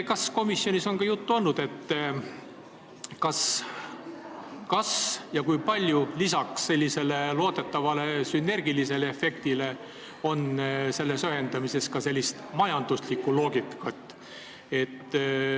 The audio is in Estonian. Kas komisjonis on juttu olnud, kas ja kui palju lisaks loodetavale sünergilisele efektile on selles ühendamises majanduslikku loogikat?